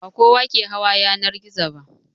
Ba kowa ke hawa yanar gizo ba.